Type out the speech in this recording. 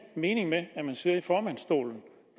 mening med at man sidder i formandsstolen